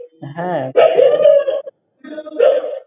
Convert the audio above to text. হ্যাঁ,